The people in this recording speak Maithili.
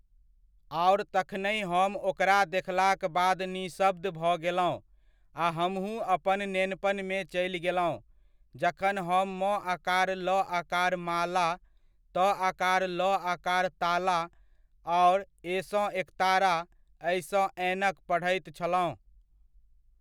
आओर तखनहि हम ओकरा देखलाक बाद निशब्द भऽ गेलहुँ आ हमहुँ अपन नेनपनमे चलि गेलहुँ जखन हम म आकार ल आकार माला, त आकार ल आकार ताला आओर ए सँ एकतारा ऐ सँ ऐनक पढैत छलहुँ।